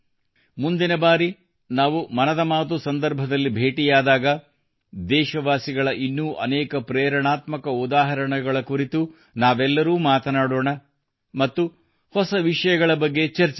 ಮುಂದಿನಬಾರಿ ನಾವು ಮನದ ಮಾತು ಸಂದರ್ಭದಲ್ಲಿ ಬೇಟಿಯಾದಾಗ ದೇಶವಾಸಿಗಳ ಇನ್ನೂ ಅನೇಕ ಪ್ರೇರಣಾತ್ಮಕ ಉದಾಹರಣೆಗಳ ಕುರಿತು ಎಲ್ಲರೂ ಮಾತನಾಡೋಣ ಮತ್ತು ಹೊಸ ವಿಷಯಗಳ ಬಗ್ಗೆ ಚರ್ಚಿಸೋಣ